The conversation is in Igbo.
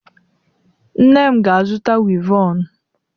Nne m ga-azụta wivọnụ.